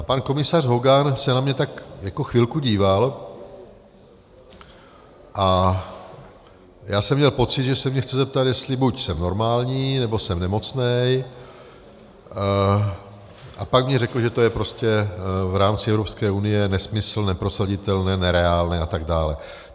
A pan komisař Hogan se na mě tak jako chvilku díval a já jsem měl pocit, že se mě chce zeptat, jestli buď jsem normální, nebo jsem nemocný, a pak mně řekl, že to je prostě v rámci Evropské unie nesmysl, neprosaditelné, nereálné a tak dále.